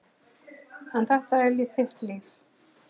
En þetta er þitt líf.